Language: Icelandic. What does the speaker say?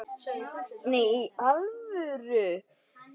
Nei, í alvöru